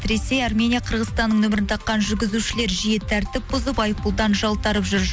ресей армения қырғызстанның нөмірін таққан жүргізушілер жиі тәртіп бұзып айыппұлдан жалтарып жүр